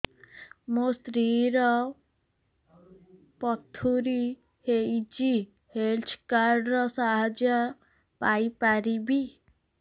ମୋ ସ୍ତ୍ରୀ ର ପଥୁରୀ ହେଇଚି ହେଲ୍ଥ କାର୍ଡ ର ସାହାଯ୍ୟ ପାଇପାରିବି